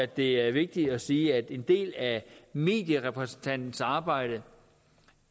det er vigtigt at sige at en del af medierepræsentantens arbejde